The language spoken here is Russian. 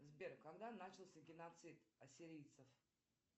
сбер когда начался геноцид ассирийцев